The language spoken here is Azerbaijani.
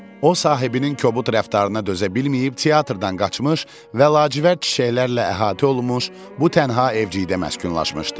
O sahibinin kobud rəftarına dözə bilməyib teatrdan qaçmış və lacivərd çiçəklərlə əhatə olunmuş bu tənha evcikdə məskunlaşmışdı.